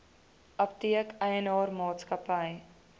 apteek eienaar maatskappy